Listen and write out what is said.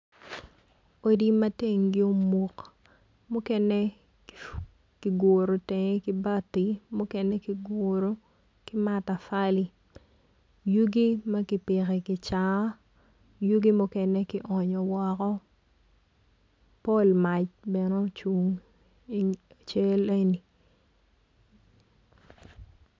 Odi ma tengi omuk mukene kiguru teng ki bati ki mukene ki matafali yugi ma kipiko i kica yugi mukene ki onyo woko pol mac bene ocung i cal eni.